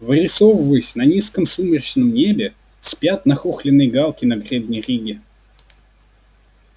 вырисовываясь на низком сумрачном небе спят нахохленные галки на гребне риги